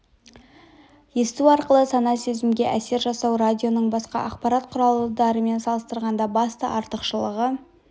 есту арқылы сана-сезімге әсер жасау радионың басқа ақпарат құралдарымен салыстырғанда басты артықшылығы